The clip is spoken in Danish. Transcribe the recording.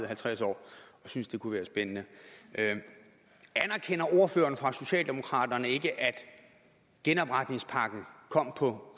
halvtreds år og synes det kunne være spændende anerkender ordføreren for socialdemokraterne ikke at genopretningspakken kom på